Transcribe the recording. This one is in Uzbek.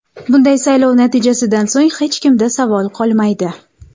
Bunday saylov natijasidan so‘ng hech kimda savol qolmaydi.